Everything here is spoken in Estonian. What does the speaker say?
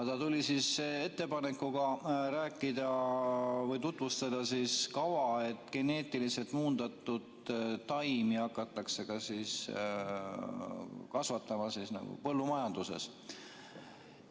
Ta tuli ettepanekuga rääkida või tutvustada kava, et geneetiliselt muundatud taimi hakatakse kasvatama põllumajanduses.